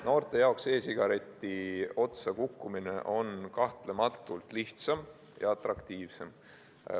Noorte jaoks e-sigareti otsa kukkumine on kahtlematult lihtsam ja atraktiivsem.